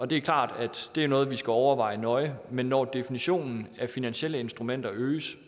det er klart at det er noget vi skal overveje nøje men definitionen af finansielle instrumenter øges